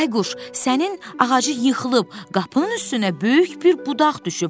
Bayquş, sənin ağacı yıxılıb, qapının üstünə böyük bir budaq düşüb.